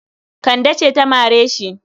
Kande ce ta mare shi.